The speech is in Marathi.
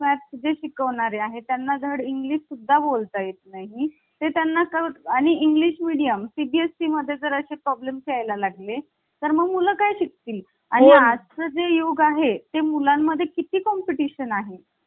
तर मित्रांनो यानंतर आपल्याला घटनेची वैशिष्टय हा घटक अभ्यासायचा आहे. तर मित्रांनो आता आपल्याला घटनेची वैशिष्ट या घटकाबद्दल जाणून घ्यायचे आहे.